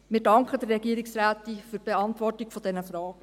– Wir danken der Regierungsrätin für die Beantwortung dieser Fragen.